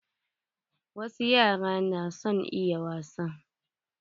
Wasu yara na son yin wasa.